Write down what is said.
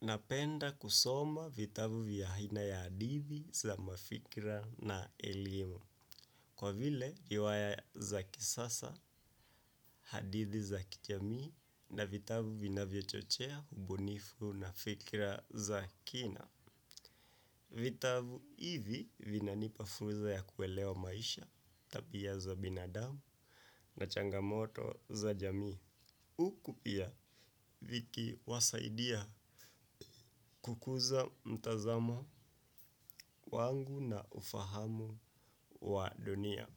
Napenda kusoma vitabu vya aina ya hadithi za mafikra na elimu, kwa vile riwaya za kisasa, hadithi za kijamii, na vitabu vinavyochochea ubunifu na fikra za kina. Vitabu hivi vinanipa fursa ya kuelewa maisha tabia za binadamu na changamoto za jamii huku pia vikiwasaidia kukuza mtazamo wangu na ufahamu wa dunia.